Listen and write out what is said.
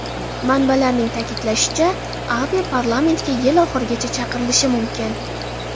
Manbalarning ta’kidlashicha, Abe parlamentga yil oxirigacha chaqirilishi mumkin.